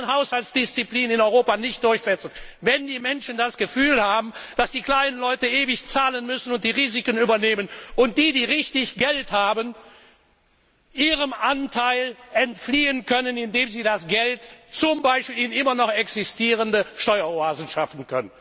Wir können Haushaltsdisziplin in Europa nicht durchsetzen, wenn die Menschen das Gefühl haben, dass die kleinen Leute ewig zahlen und die Risiken übernehmen müssen und die, die richtig Geld haben, ihrem Anteil entfliehen können, indem sie das Geld zum Beispiel in immer noch existierende Steueroasen schaffen.